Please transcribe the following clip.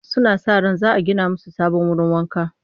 Suna sa ran za a gina musu sabon wurin wanka